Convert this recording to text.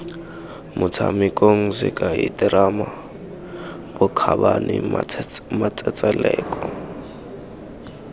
motshamekong sekai terama bokgabane matsetseleko